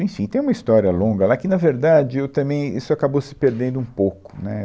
Enfim, tem uma história longa lá que, na verdade, eu também, isso acabou se perdendo um pouco, né?